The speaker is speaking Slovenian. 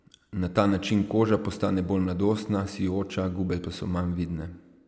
Na ta način koža postane bolj mladostna, sijoča, gube pa so manj vidne.